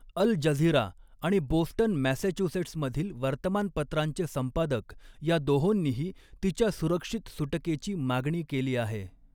अल Jazeera आणि Boston मॅसॅच्युसेट्समधील वर्तमानपत्रांचे संपादक ह्या दोहोंनीही तिच्या सुरक्षित सुटकेची मागणी केली आहे